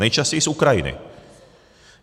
Nejčastěji z Ukrajiny.